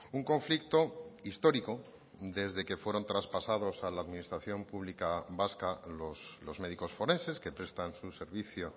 un conflicto histórico desde que fueron traspasados a la administración pública vasca los médicos forenses que prestan su servicio